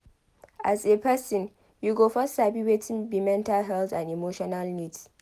As a person you go first sabi wetin be mental health and emotional needs